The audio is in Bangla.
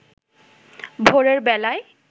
ভোরের বেলায়